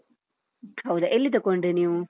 ಹೌದಾ, ಎಲ್ಲಿ ತಕೊಂಡ್ರಿ ನೀವು?